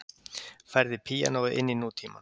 Færði píanóið inn í nútímann